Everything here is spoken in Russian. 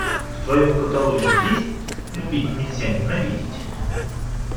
в твоем каталоге есть любить нельзя ненавидеть